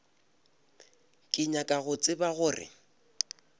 ke nyaka go tseba gore